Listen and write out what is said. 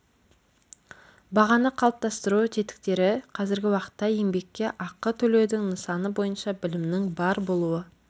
бағаны қалыптастыру тетіктері қазіргі уақытта еңбекке ақы төлеудің нысаны бойынша білімнің бар болуы